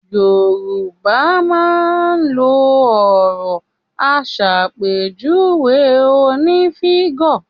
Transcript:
Yorùbá máa n lo òro asàpèjúwe oní fígò